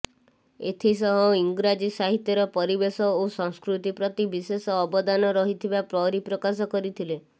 ଏଥିସହ ଇଂରାଜୀ ସାହିତ୍ୟର ପରିବେଶ ଓ ସଂସ୍କୃତି ପ୍ରତି ବିଶେଷ ଅବଦାନ ରହିଥିବା ପରିପ୍ରକାଶ କରିଥିଲେ